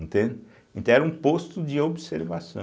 Entende, então, era um posto de observação.